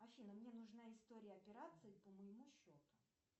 афина мне нужна история операций по моему счету